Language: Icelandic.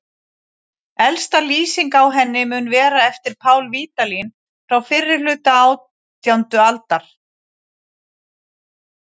Elsta lýsing á henni mun vera eftir Pál Vídalín frá fyrri hluta átjándu aldar.